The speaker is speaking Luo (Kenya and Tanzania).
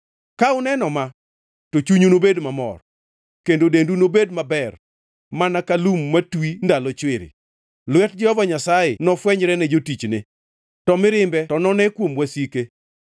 Ka uneno ma, to chunyu nobed gi mor, kendo dendu nobed maber mana ka lum matwi ndalo chwiri; lwet Jehova Nyasaye nofwenyre ne jotichne, to mirimbe to none kuom wasike.